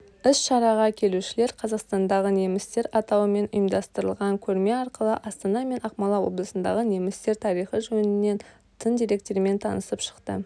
іс-шараға келушілер қазақстандағы немістер атауымен ұйымдастырылған көрме арқылы астана мен ақмола облысындағы немістер тарихы жөнінен тың деректермен танысып шықты